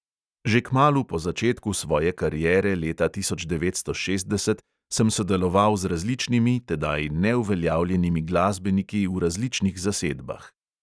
Že kmalu po začetku svoje kariere leta tisoč devetsto šestdeset sem sodeloval z različnimi, tedaj neuveljavljenimi glasbeniki v različnih zasedbah.